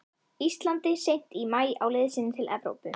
Íslandi seint í maí á leið sinni til Evrópu.